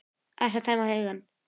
Aðeins að tæma hugann.